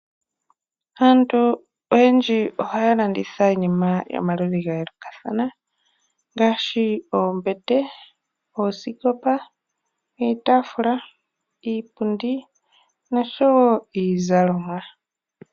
Aantu oyendji oha ya landitha iinima yomaludhi ga yoolokathana ngaashi oombete, oosikopa, iitafuula, iipundi nosho wo iizalomwa.